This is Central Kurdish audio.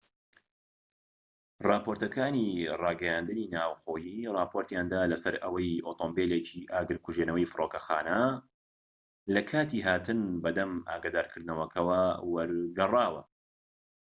راپۆرتەکانی راگەیاندنی ناوخۆیی راپۆرتیان دا لەسەر ئەوەی ئۆتۆمبیلێکی ئاگرکوژێنەوەی فرۆکەخانە لەکاتی هاتن بە دەم ئاگادارکردنەوەکەوە وەرگەڕاوە